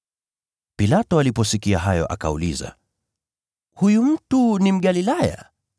Pilato aliposikia hayo akauliza, “Huyu mtu ni Mgalilaya?”